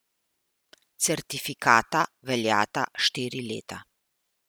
Certifikata veljata štiri leta.